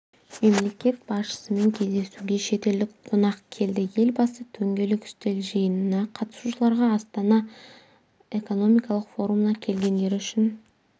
мемлекет басшысымен кездесуге шетелдік қонақ келді елбасы дөңгелек үстел жиынына қатысушыларға астана экономикалық форумына келгендері үшін